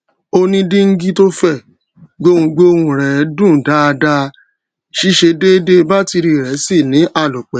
ó ní díngí tó fè gbohùgbohùn rè dún dáadáaó ṣiṣé dèèdè bátìrì rè sì ní àlòpé